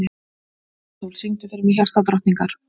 Sæsól, syngdu fyrir mig „Hjartadrottningar“.